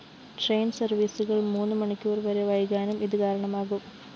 train സര്‍വീസുകള്‍ മൂന്നു മണിക്കൂര്‍ വരെ വൈകാനും ഇത് കാരണമാകും